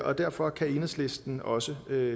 og derfor kan enhedslisten også